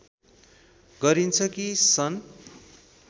गरिन्छ कि सन्